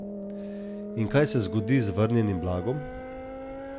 In kaj se zgodi z vrnjenim blagom?